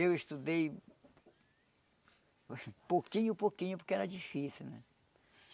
Eu estudei... pouquinho, pouquinho, porque era difícil,